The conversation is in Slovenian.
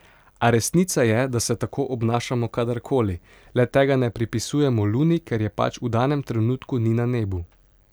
A resnica je, da se tako obnašamo kadar koli, le tega ne pripisujemo luni, ker je pač v danem trenutku ni na nebu.